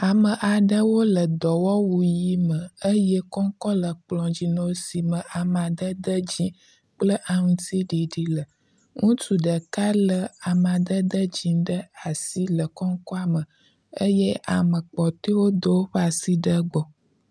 Ame aɖewo le dɔ wɔwu ʋi me eye kɔŋkɔŋ le kplɔ dzi na wo si me amadede dzi kple laŋuti ɖiɖi le. Ŋutsu ɖeka le amadede dzi ɖe asi le kɔŋkɔa me eye ame kpɔtɔwo do awoƒe asi ɖe egbɔ.